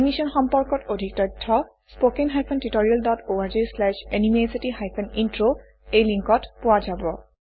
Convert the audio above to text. এই মিশ্যন সম্পৰ্কত অধিক তথ্য spoken hyphen tutorial dot org slash এনএমইআইচিত হাইফেন ইন্ট্ৰ এই লিংকত পোৱা যাব